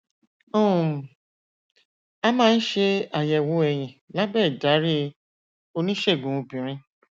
um a máa ń ṣe àyẹwò ẹyin lábẹ ìdarí oníṣègùn obìnrin